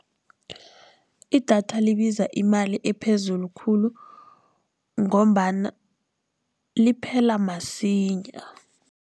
Idatha libiza imali ephezulu khulu, ngombana liphela masinya.